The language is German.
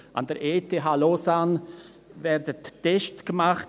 An der ETH Lausanne werden Tests gemacht.